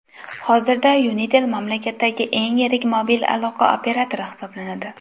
Hozirda Unitel mamlakatdagi eng yirik mobil aloqa operatori hisoblanadi.